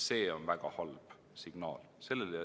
See on väga halb signaal.